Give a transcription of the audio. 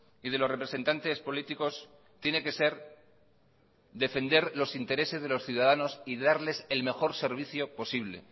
y de los representantes políticos tiene que ser defender los intereses de los ciudadanos y darles el mejor servicio posible